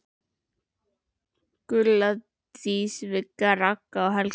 Gulla, Dísa, Vigga, Ragga og Helga.